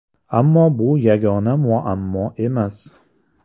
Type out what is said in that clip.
Ammo bu yagona muammo emas.